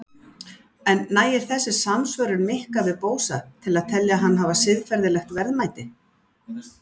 En nægir þessi samsvörun Mikka við Bósa til að telja hann hafa siðferðilegt verðmæti?